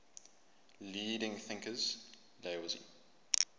leading thinkers laozi